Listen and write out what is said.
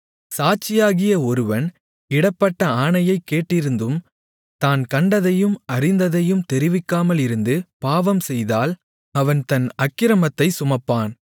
சாட்சியாகிய ஒருவன் இடப்பட்ட ஆணையைக் கேட்டிருந்தும் தான் கண்டதையும் அறிந்ததையும் தெரிவிக்காமலிருந்து பாவம்செய்தால் அவன் தன் அக்கிரமத்தைச் சுமப்பான்